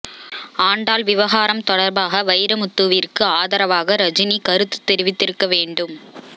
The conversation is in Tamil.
ஆண்டாள் விவகாரம் தொடர்பாக வைரமுத்துவிற்கு ஆதரவாக ரஜினி கருத்து தெரிவித்திருக்க வேண்டும்